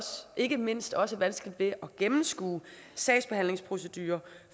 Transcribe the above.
ikke mindst også vanskeligt ved at gennemskue sagsbehandlingsprocedurer